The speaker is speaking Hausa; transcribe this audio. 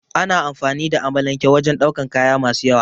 Ana amfani da amalanke wajen daukan kaya masu yawa